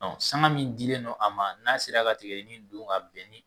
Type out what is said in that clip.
Sanga min dilen don a ma n'a sera ka tigadɛgɛnin dun ka bɛn